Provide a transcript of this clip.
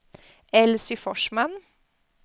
Elsy Forsman